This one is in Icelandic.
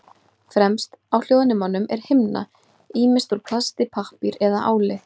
Fremst á hljóðnemum er himna, ýmist úr plasti, pappír eða áli.